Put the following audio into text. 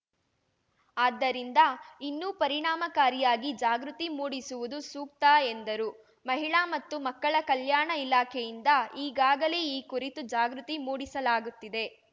ಆದ್ದರಿಂದ ಇನ್ನೂ ಪರಿಣಾಮಕಾರಿಯಾಗಿ ಜಾಗೃತಿ ಮೂಡಿಸುವುದು ಸೂಕ್ತ ಎಂದರು ಮಹಿಳಾ ಮತ್ತು ಮಕ್ಕಳ ಕಲ್ಯಾಣ ಇಲಾಖೆಯಿಂದ ಈಗಾಗಲೇ ಈ ಕುರಿತು ಜಾಗೃತಿ ಮೂಡಿಸಲಾಗುತ್ತಿದೆ